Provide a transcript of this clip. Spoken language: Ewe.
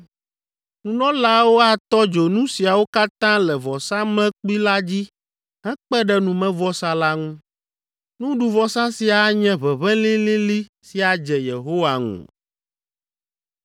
Nunɔlaawo atɔ dzo nu siawo katã le vɔsamlekpui la dzi hekpe ɖe numevɔsa la ŋu. Nuɖuvɔsa sia anye ʋeʋẽ lĩlĩlĩ si adze Yehowa ŋu.